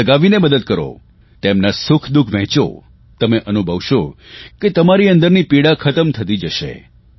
મન લગાવીને મદદ કરો તેમના સુખદુઃખ વહેંચો તમે અનુભવશો કે તમારી અંદરની પીડા ખતમ થતી જશે